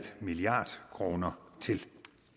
milliard kroner til